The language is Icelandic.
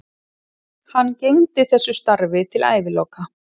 Hann gegndi þessu starfi til æviloka.